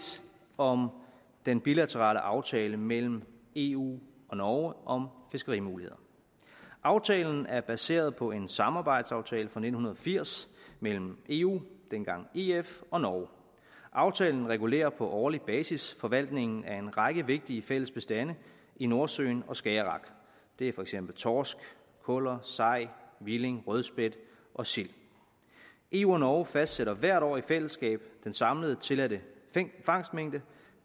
om den bilaterale aftale mellem eu og norge om fiskerimuligheder aftalen er baseret på en samarbejdsaftale fra nitten firs mellem eu dengang ef og norge aftalen regulerer på årlig basis forvaltningen af en række vigtige fælles bestande i nordsøen og skagerrak det er for eksempel torsk kuller sej hvilling rødspætte og sild eu og norge fastsætter hvert år i fællesskab den samlede tilladte fangstmængde